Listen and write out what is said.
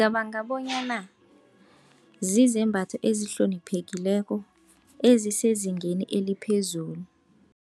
Cabanga bonyana zizembatho ezihloniphekileko ezisezingeni eliphezulu.